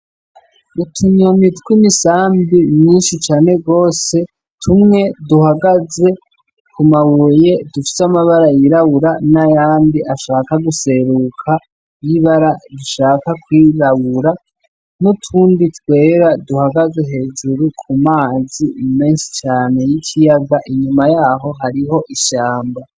Utunyoni tw'imisambi myinshi cane gose, tumwe duhagaze ku mabuye dufise amabara yirabura n'ayandi ashaka guseruka y'ibara rishaka kwirabura, n'utundi twera duhagaze hejuru ku mazi menshi cane y'ikiyaga, inyuma yaho hariho ishamba.